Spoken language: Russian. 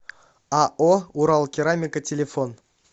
ао уралкерамика телефон